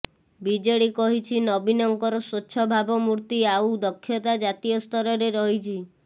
BJD କହିଛିି ନବୀନଙ୍କର ସ୍ୱଚ୍ଛ ଭାବମୂର୍ତି ଆଉ ଦକ୍ଷତା ଜାତୀୟ ସ୍ତରରେ ରହିଛି